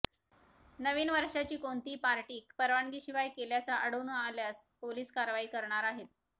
नवीन वर्षाची कोणतीही पार्टी परवानगी शिवाय केल्याचं आढळून आल्यास पोलीस कारवाई करणार आहेत